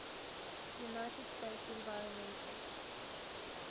united states environmental